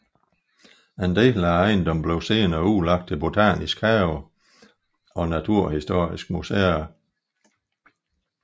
En del af ejendommen blev senere udlagt til Botanisk hage og naturhistoriske muséer